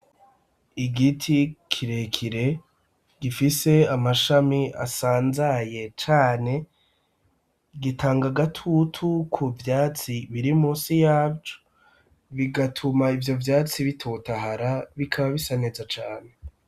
Igiti kirekire gifise amashami asanzaye cane gitanga agatutu ku vyatsi biri munsi yavyo bigatuma ivyo vyatsi bitotahara bikaba bisa neza cane.